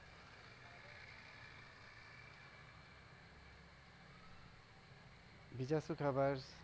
બીજું શૂ ખબર?